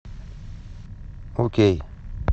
окей